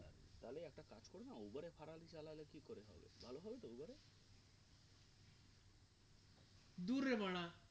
দূর রে বাড়া